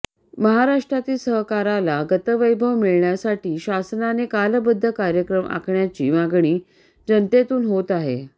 महाराष्ट्रातील सहकाराला गतवैभव मिळण्यासाठी शासनाने कालबध्द कार्यक्रम आखण्याची मागणी जनतेतून होत आहे